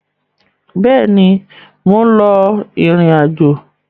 Bẹ́ẹ̀ ni, mò ń lọ ìrìn-àjọ.